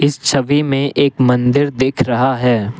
इस छवि में एक मंदिर दिख रहा है।